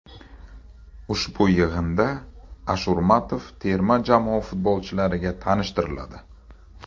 Ushbu yig‘inda Ashurmatov terma jamoa futbolchilariga tanishtiriladi.